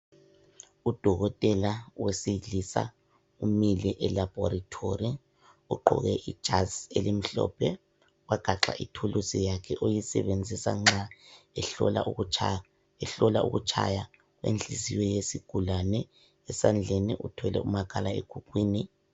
Udokotela owesilisa umile elaboratory ugqoke ijazi elimhlophe wagaxa ithuluzi yakhe sebenzisa nxa ehlola ukutshaya inhliziyo yezigulane esandleni uthwele umakhalekhukhwini.